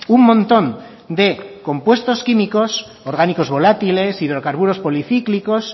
un montón de compuestos químicos orgánicos volátiles hidrocarburos policíclicos